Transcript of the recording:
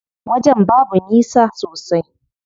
Wajen babu nisa sosai.